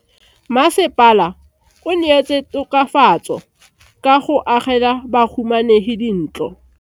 Mmasepala o neetse tokafatso ka go agela bahumanegi dintlo.